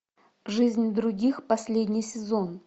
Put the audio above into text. жизнь других последний сезон